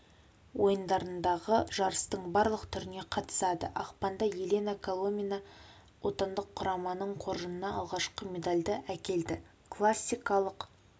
ойындарындағы жарыстың барлық түріне қатысады ақпанда елена коломина отандық құраманың қоржынына алғашқы медальді әкелді классикалық